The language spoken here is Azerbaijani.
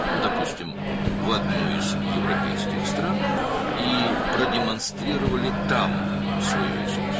məsələn, Avropa ölkələrindən birinə, və orada öz sənətinizi nümayiş etdirəsiniz.